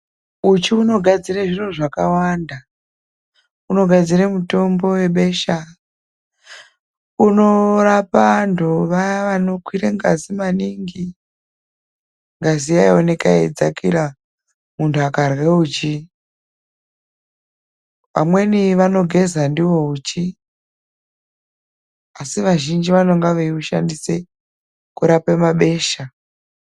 Uchi unogadzire zviro zvakawanda, unogadzira mutombo webesha, unorapa antu vaya vanokwire ngazi maningi. Ngazi yeioneka yeidzakira muntu akarya uchi. Amweni vanogeza ndiwo uchi, asi vazhinji vanonga veyi ushandise kurapa mabesha.